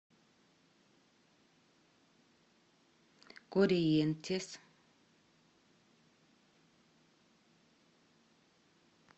корриентес